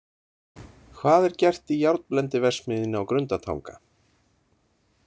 Hvað er gert í járnblendiverksmiðjunni á Grundartanga?